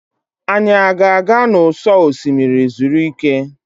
Anyị a ga-aga n'ụsọ osimiri zuru ike?